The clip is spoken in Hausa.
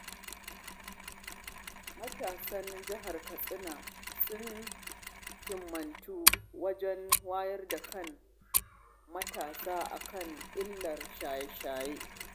Matasan Jihar Katsina sun himmatu wajen wayar da kan matasa a kan illar shaye-shaye